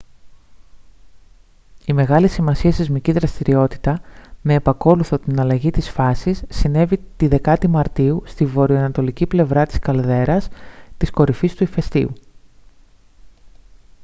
η μεγάλης σημασίας σεισμική δραστηριότητα με επακόλουθο την αλλαγή της φάσης συνέβη τη 10η μαρτίου στη βορειανατολική πλευρά της καλδέρας της κορυφής του ηφαιστείου